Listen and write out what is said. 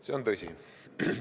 See on tõsi.